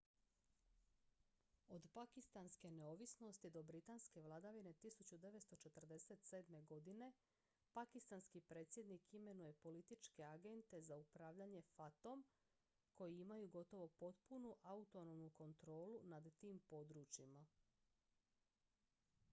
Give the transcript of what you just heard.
od pakistanske neovisnosti od britanske vladavine 1947. godine pakistanski predsjednik imenuje političke agente za upravljanje fata-om koji imaju gotovo potpunu autonomnu kontrolu nad tim područjima